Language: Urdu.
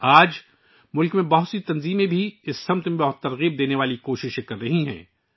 آج ملک کی کئی تنظیمیں بھی اس سمت میں بہت متاثر کن کوششیں کر رہی ہیں